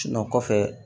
kɔfɛ